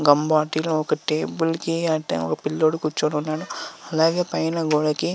Gum bottle ఒక table కి అంటే ఒక పిల్లోడు కూర్చొని ఉన్నాడు. అలాగే గోడ కి--